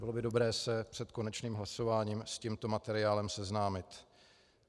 Bylo by dobré se před konečným hlasováním s tímto materiálem seznámit.